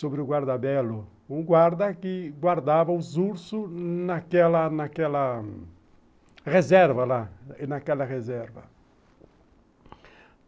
sobre o guardabelo, um guarda que guardava os ursos naquela reserva lá, naquela reserva.